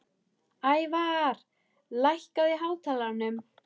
Ævarr, lækkaðu í hátalaranum.